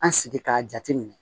An sigi k'a jate minɛ